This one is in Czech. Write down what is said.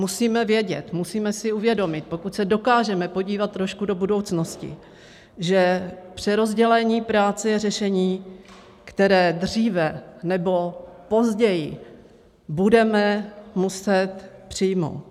Musíme vědět, musíme si uvědomit, pokud se dokážeme podívat trošku do budoucnosti, že přerozdělení práce je řešení, které dříve nebo později budeme muset přijmout.